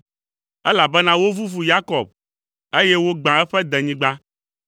Elabena wovuvu Yakob, eye wogbã eƒe denyigba.